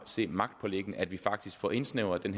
se magtpåliggende at vi faktisk får indsnævret den